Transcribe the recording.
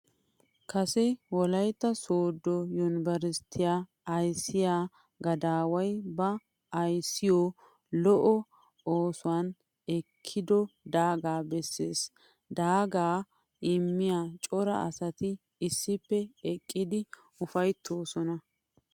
Kase wolaytta soodo yunbberattiya ayssiya gadaway ba ayssiyo lo'o oosuwan ekiiddo daaga besees. Daaga immiya cora asatti issippe eqqiddi ufayttosonna.